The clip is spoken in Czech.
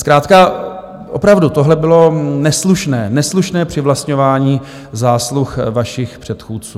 Zkrátka opravdu tohle bylo neslušné, neslušné přivlastňování zásluh vašich předchůdců.